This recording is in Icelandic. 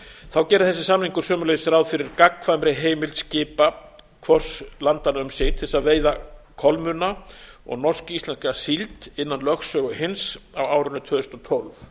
þá gerir þessi samningur sömuleiðis ráð fyrir gagnkvæmri heimild skipa hvors landanna um sig til þess að veiða kolmunna og norsk íslenska síld innan lögsögu hins á árinu tvö þúsund og tólf